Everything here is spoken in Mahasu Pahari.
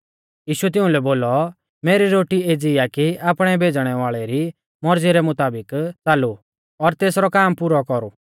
यीशुऐ तिउंलै बोलौ मेरी रोटी एज़ी आ कि आपणै भेज़णै वाल़ै री मौरज़ी रै मुताबिक च़ालू और तेसरौ काम पुरौ कौरु